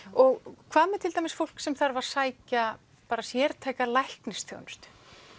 og hvað með til dæmis fólk sem þarf að sækja sértæka læknisþjónustu